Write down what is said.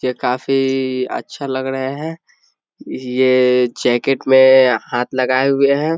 ये काफी अच्छा लग रहे हैं ये जैकेट में हाथ लगाए हुए हैं।